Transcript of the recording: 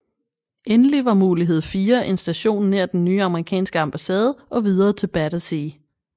Endelig var mulighed 4 en station nær den nye amerikanske ambassade og videre til Battersea